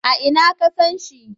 A ina ka san shi?